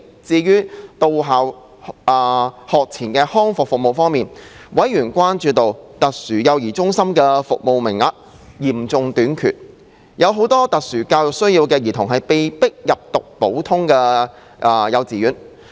至於在到校學前康復服務方面，委員關注到，特殊幼兒中心的服務名額嚴重短缺，很多有特殊教育需要的兒童被迫入讀普通幼稚園。